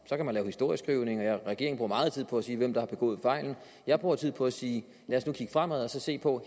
så kan man lave historieskrivning og regeringen bruger meget tid på at sige hvem der har begået fejlen jeg bruger tid på at sige lad os nu kigge fremad og se på